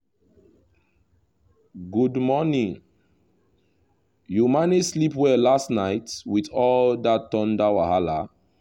good morning! you manage sleep well last night with all that thunder wahala?